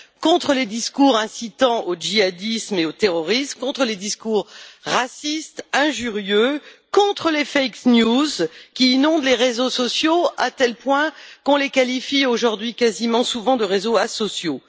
contre les discours incitant au djihadisme et au terrorisme, contre les discours racistes et injurieux, contre les informations mensongères qui inondent les réseaux sociaux, à tel point qu'on les qualifie aujourd'hui souvent de réseaux asociaux.